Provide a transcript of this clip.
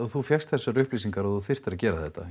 þú fékkst þessar upplýsingar að þú þyrftir að gera þetta